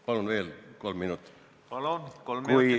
Palun, kolm minutit lisaaega!